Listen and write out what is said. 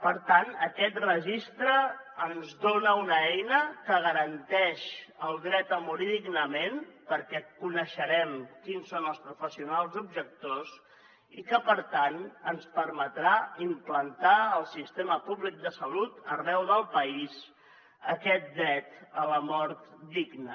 per tant aquest registre ens dona una eina que garanteix el dret a morir dignament perquè coneixerem quins són els professionals objectors i que per tant ens permetrà implantar al sistema públic de salut arreu del país aquest dret a la mort digna